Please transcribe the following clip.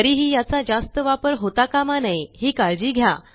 तरीही याचा जास्त वापर होता कामा नये ही काळजी घ्या